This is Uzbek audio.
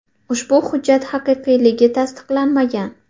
Ushbu hujjat haqiqiyligi tasdiqlanmagan.